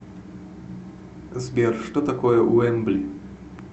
сбер что такое уэмбли